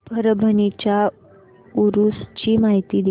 परभणी च्या उरूस ची माहिती दे